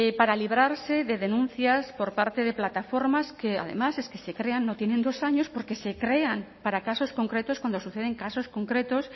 para librarse de denuncias por parte de plataformas que además es que se crean no tienen dos años porque se crean para casos concretos cuando suceden casos concretos